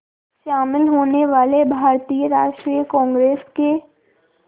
शामिल होने वाले भारतीय राष्ट्रीय कांग्रेस के